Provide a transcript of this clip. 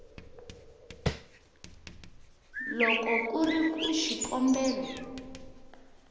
loko ku ri ku xikombelo